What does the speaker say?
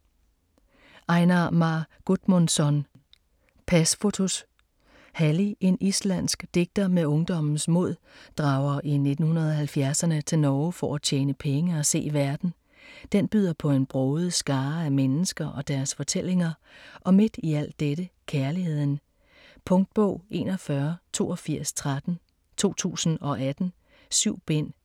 Einar Már Guðmundsson: Pasfotos Halli, en islandsk digter med ungdommens mod, drager i 1970'erne til Norge for at tjene penge og se verden. Den byder på en broget skare af mennesker og deres fortællinger og midt i al dette, kærligheden. Punktbog 418213 2018. 7 bind.